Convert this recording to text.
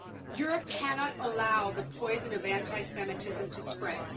Europe cannot allow the poison of anti Semitism to spread.